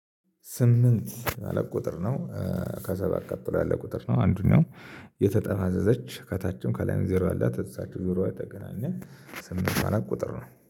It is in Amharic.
ስምንት አለ ቁጥር ነው። ከሰባት ቀጥሎ ያለ ቁጥር ነው አንዱኛው የተጠማዘዘች ከታችም ከላይም ዜሮ ያላት እዛ ዜሮ የተገናኘ ስምንት ማለት ቁጥር ነው